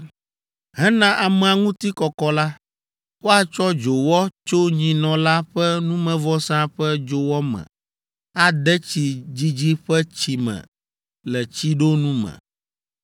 “Hena amea ŋuti kɔkɔ la, woatsɔ dzowɔ tso nyinɔ la ƒe numevɔsa ƒe dzowɔ me ade tsi dzidzi ƒe tsi me le tsiɖonu me.